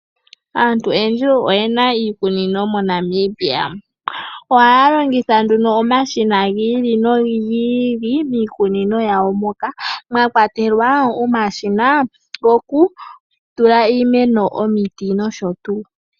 Aantu oyendji oyena iikunino oyindji moNamibia ohaya longitha omashina gi ili nogi ili miikunino yawo moka mwakwatelwa omashina gokutula iimeno omiti nosho tuu.